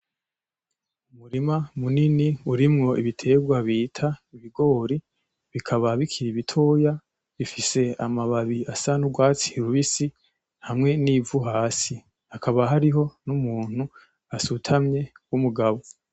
Umurima munini urimwo ibiterwa bita ibigori bikaba bikiri bitoya, bifise amababi asa n‘ urwatsi rubisi hamwe n‘ ivu hasi. Hakaba hariho n‘ umuntu asutamye w‘ umugabo .